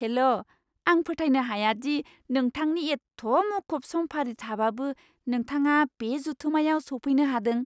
हेल'! आं फोथायनो हाया दि नोंथांनि एत्थ मुखुब समफारि थाबाबो नोंथाङा बे जथुमायाव सौफैनो हादों।